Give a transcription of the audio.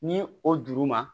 Ni o juru ma